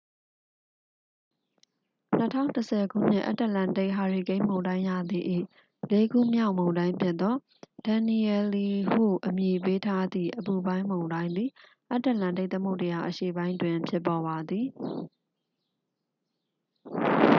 2010 ခုနှစ် အတ္တလန္တိတ် ဟာရီကိန်းမုန်တိုင်းရာသီ၏ လေးခုမြောက်မုန်တိုင်းဖြစ်သော danielle ဟုအမည်ပေးထားသည့် အပူပိုင်းမုန်တိုင်းသည် အတ္တလန္တိတ်သမုဒ္ဒရာအရှေ့ပိုင်းတွင် ဖြစ်ပေါ်ပါသည်